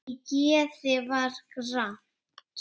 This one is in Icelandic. Í geði var gramt.